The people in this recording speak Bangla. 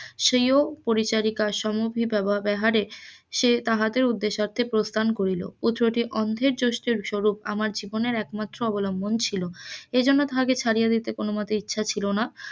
স্বীয় পরিচারিকার সমুহ ব্যবহারে সে তাহাদের উদ্দ্যেশার্তে প্রস্থান করিল, ও চোখে অন্ধের জস্থি স্বরুপ আমার জীবনের একমাত্র অবলম্বন ছিল এই জন্য তাজাকে ছাড়িয়ে দিতে কোন মতে ইচ্ছা ছিল না,